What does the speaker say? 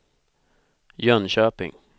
Jönköping